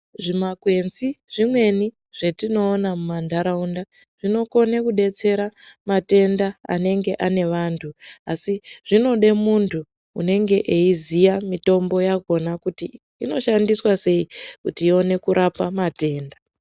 Zvimakwenzi, zvimweni zvatinowona mumandarawunda zvinokone kudetsera matenda anenge ane vantu. Asi zvinode muntu unenge eyiziya mitombo yakhona kuti inoshandiswa sei kuti iwone kurapa matenda.